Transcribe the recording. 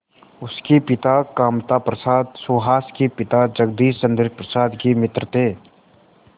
उसके पिता कामता प्रसाद सुहास के पिता जगदीश चंद्र प्रसाद के मित्र थे